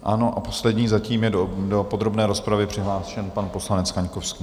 Ano, a poslední zatím je do podrobné rozpravy přihlášen pan poslanec Kaňkovský.